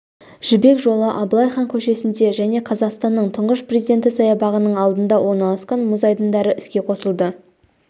жібек жолы абылай хан көшесінде және қазақстанның тұңғыш президенті саябағының алдында орналасқан мұз айдындары іске қосылды